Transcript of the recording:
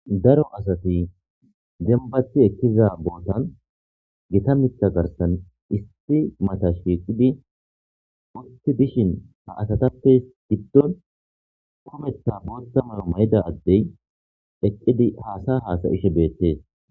daro asati zembathi ekiza bootan gita mitha garsan isti mata shiiqidi wotti dishin ha asatappe giddon hometa boonta mala may7ida addey eqqidi haasa haasayishe beettees